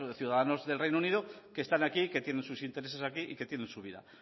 ciudadanos del reino unido que están aquí y que tienen sus intereses aquí y que tiene su vida aquí